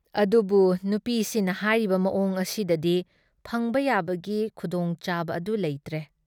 ꯑꯗꯨꯕꯨ ꯅꯨꯄꯤꯁꯤꯅ ꯍꯥꯏꯔꯤꯕ ꯃꯑꯣꯡ ꯑꯁꯤꯗꯗꯤ ꯐꯪꯕ ꯌꯥꯕꯒꯤ ꯈꯨꯗꯣꯡꯆꯥꯕ ꯑꯗꯨ ꯂꯩꯇ꯭ꯔꯦ ꯫